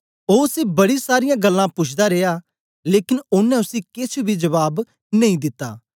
ओ उसी बड़ी सारीयां गल्लां पुछदा रिया लेकन ओनें उसी केछ बी जबाब नेई दिता